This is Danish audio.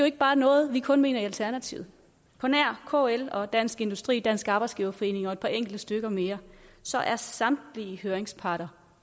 ikke bare noget vi kun mener i alternativet på nær kl dansk industri dansk arbejdsgiverforening og et par enkelte stykker mere så er samtlige høringsparter